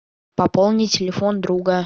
пополни телефон друга